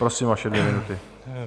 Prosím, vaše dvě minuty.